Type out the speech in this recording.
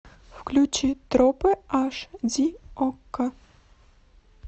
включи тропы аш ди окко